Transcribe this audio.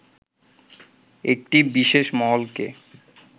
একটি বিশেষ মহলকে